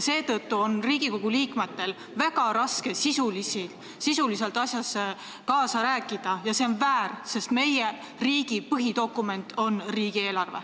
Seetõttu on Riigikogu liikmetel väga raske sisuliselt asjas kaasa rääkida ja see on väär, sest meie riigi põhidokument on riigieelarve.